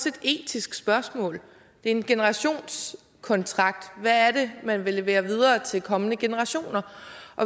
et etisk spørgsmål det er en generationskontrakt hvad er det man vil levere videre til kommende generationer